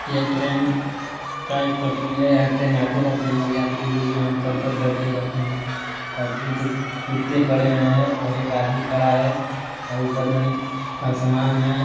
यह ट्रैन का एक पटरी हैं यहाँ ट्रैन आते रहते हैं और यात्री लोग यहाँ उतर कर बैठे रहते हैं और तीन ठोक कुत्ते खड़े हैं और एक आदमी खड़ा हैं और ऊपर में आसमान हैं।